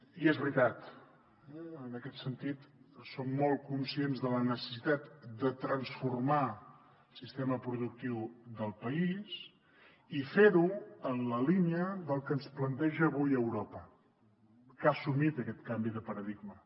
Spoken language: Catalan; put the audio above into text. i és veritat en aquest sentit som molt conscients de la necessitat de transformar el sistema productiu del país i fer ho en la línia del que ens planteja avui europa que ha assumit aquest canvi de paradigma